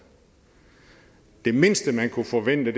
det mindste man kunne forvente